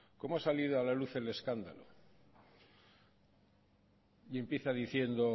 cómo ha salido a la luz el escándalo y empieza diciendo